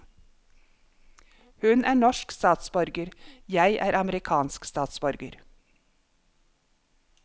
Hun er norsk statsborger, jeg er amerikansk statsborger.